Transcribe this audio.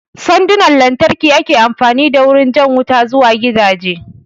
Sandunan lantarki ake amfani da wurin jan wuta zuwa gidaje